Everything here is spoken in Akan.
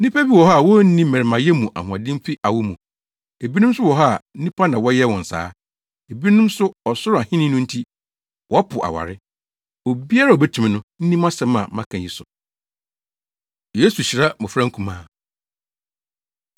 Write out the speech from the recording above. Nnipa bi wɔ hɔ a wonni mmarimayɛ mu ahoɔden fi awo mu, ebinom nso wɔ hɔ a nnipa na wɔyɛɛ wɔn saa; ebinom nso ɔsoro Ahenni no nti, wɔpo aware. Obiara a obetumi no, nni mʼasɛm a maka yi so.” Yesu Hyira Mmofra Nkumaa